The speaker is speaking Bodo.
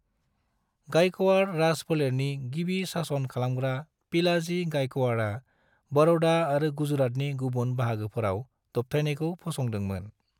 गायकवाड़ राज फोलेरनि गिबि सासन खालामग्रा पिलाजी गायकवाड़आ बड़ौदा आरो गुजरातनि गुबुन बाहागोफोराव दबथायनायखौ फसंदों मोन।